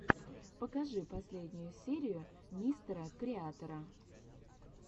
покажи последнюю серию мистера креатора